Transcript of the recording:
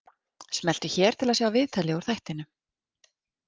Smelltu hér til að sjá viðtalið úr þættinum